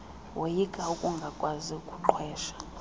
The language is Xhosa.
woyika ukungakwazi kuqhwesha